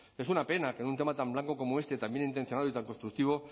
es una pena que en un tema tan blanco como este tan bien intencionado y tan constructivo